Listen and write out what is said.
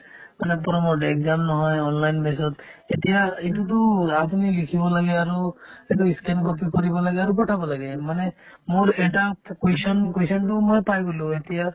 মানে promote exam নহয় online basis ত এতিয়া এইটোতো আপুনি লিখিব লাগে আৰু এইটো scan copy কৰিব লাগে আৰু পঠাব লাগে মানে মোৰ এটা পো question question তো মই পাই গ'লো এতিয়া